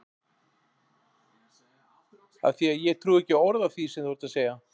Af því að ég trúi ekki orði af því sem þú ert að segja.